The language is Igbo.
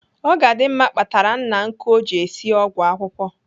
Ogadimma kpatara nna nkụ o ji esi ọgwụ akwụkwụ.